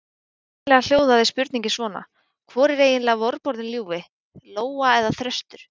Upprunalega hljóðaði spurningin svona: Hvor er eiginlega vorboðinn ljúfi: Lóa eða þröstur?